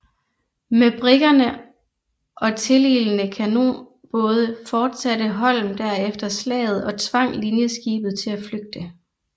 Med briggerne og tililende kanonbåde fortsatte Holm derefter slaget og tvang linjeskibet til at flygte